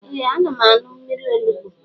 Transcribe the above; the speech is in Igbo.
Ee ana m añụ mmiri onugbo